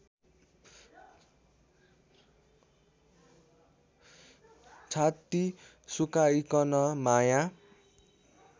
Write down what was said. छाती सुकाइकन माया